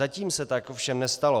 Zatím se tak ovšem nestalo.